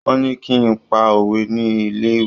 Wọ́n ní kí n pa òwe ní ilé-ìwé.